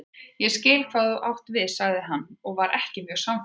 Ég skil hvað þú átt við sagði hann og var ekki mjög sannfærandi.